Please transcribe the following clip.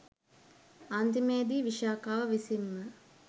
අන්තිමේදී විශාඛාව විසින්ම